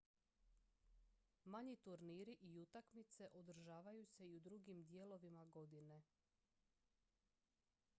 manji turniri i utakmice održavaju se i u drugim dijelovima godine